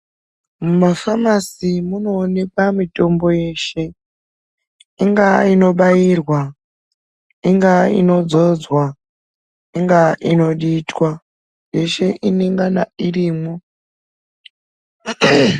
Mufamasi munoonekwa mitombo yeshe ingaa inobairwa ingaa inodzoodzwa ingaa inoditwa yeshe inengane irimwo.